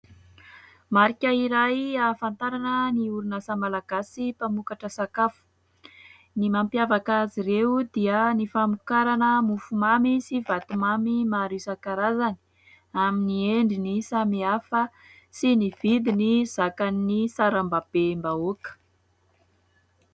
Marika iray ahafantarana ny orinasa malagasy mpamokatra sakafo; ny mampiavaka azy ireo dia ny famokarana mofomamy sy vatomamy maro isankarazany, amin'ny endriny samihafa sy ny vidiny zakan'ny sarambabem-bahoaka.